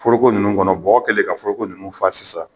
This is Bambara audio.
Foroko ninnu kɔnɔ bɔgɔ kɛlen ka foroko ninnu fa sisan